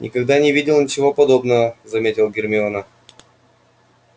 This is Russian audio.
никогда не видела ничего подобного заметила гермиона